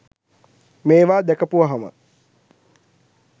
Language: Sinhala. මේවා දැකපුවහම